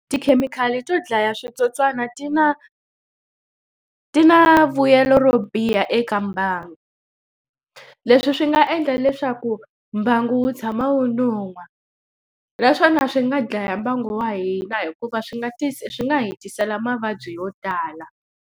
Tikhemikhali to dlaya switsotswana ti na ti na vuyelo ro biha eka mbangu. Leswi swi nga endla leswaku mbangu wu tshama wu nuhwa naswona swi nga dlaya mbangu wa hina hikuva swi nga swi nga hi tisela mavabyi yo tala.